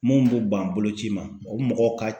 Mun b'u ban boloci ma o mɔgɔw ka